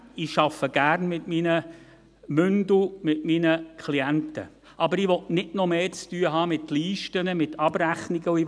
ich arbeite gern mit meinen Mündeln, mit meinen Klienten, aber ich will nicht noch mehr mit Listen, mit Abrechnungen zu tun haben.